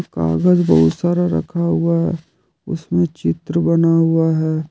कागज बहुत सारा रखा हुआ है उसमें चित्र बना हुआ है।